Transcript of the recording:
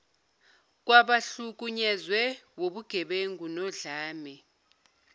kwabahlukunyezwe wubugebengu nodlame